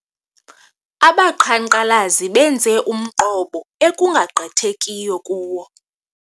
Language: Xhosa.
Abaqhankqalazi benze umqobo ekungagqithekiyo kuwo.